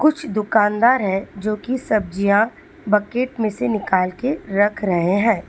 कुछ दुकानदार है जोकि सब्जियां बकेट में से निकाल के रख रहे है।